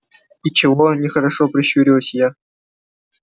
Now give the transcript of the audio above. и чего нехорошо прищурилась я